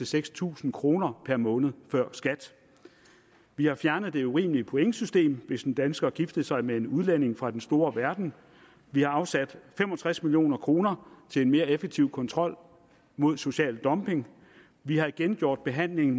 seks tusind kroner per måned før skat vi har fjernet det urimelige pointsystem hvis en dansker giftede sig med en udlænding fra den store verden vi har afsat fem og tres million kroner til en mere effektiv kontrol med social dumping vi har igen gjort behandling